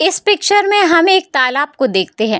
इस पिक्चर में हम एक तालाब को देखते हैं।